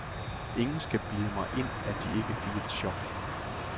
Ingen skal bilde mig ind, at de ikke fik et chok.